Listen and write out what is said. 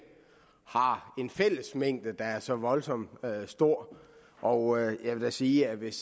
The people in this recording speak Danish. har en fællesmængde der er så voldsomt stor og jeg vil da sige at hvis